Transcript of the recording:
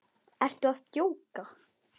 Ertu að djóka!?